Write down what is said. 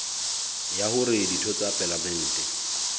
ya hore ditho tsa palamente